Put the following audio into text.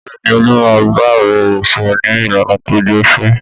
Bẹ́ẹ̀ ni, Olú máa ń bá ọ̀rẹ́ rẹ̀ sọ̀rọ̀ ní ìlànà tó gbẹ̀fẹ̀.